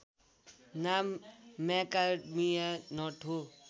नाम macadamia nut हो